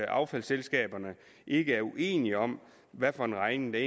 affaldsselskaberne ikke er uenige om hvad for en regning der